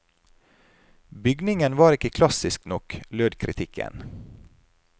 Bygningen var ikke klassisk nok, lød kritikken.